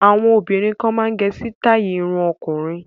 Àwọn obìnrin kan máa ń gẹ sítáì irun ọkùnrin.